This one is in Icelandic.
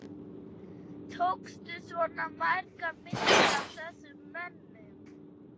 Tókstu svona margar myndir af þessum mönnum?